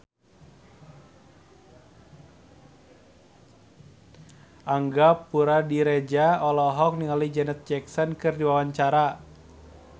Angga Puradiredja olohok ningali Janet Jackson keur diwawancara